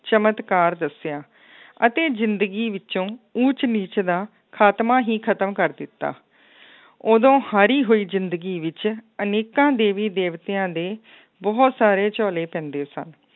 ਚਮਤਕਾਰ ਦੱਸਿਆ ਅਤੇ ਜ਼ਿੰਦਗੀ ਵਿੱਚੋਂ ਊਚ ਨੀਚ ਦਾ ਖਾਤਮਾ ਹੀ ਖਤਮ ਕਰ ਦਿੱਤਾ ਉਦੋਂ ਹਾਰੀ ਹੋਈ ਜ਼ਿੰਦਗੀ ਵਿੱਚ ਅਨੇਕਾਂ ਦੇਵੀ ਦੇਵਿਤਆਂ ਦੇ ਬਹੁਤ ਸਾਰੇ ਝੋਲੇ ਪੈਂਦੇ ਸਨ,